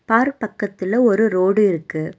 Park பக்கத்துல ஒரு road இருக்கு.